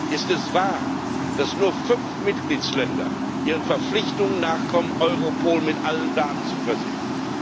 Ist es wahr, dass nur fünf Mitgliedstaaten ihren Verpflichtungen nachkommen, Europol mit allen Daten zu versehen?